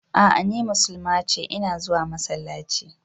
A'a ni musulma ce, ina zuwa masallaci.